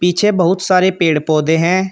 पीछे बहुत सारे पेड़ पौधे हैं।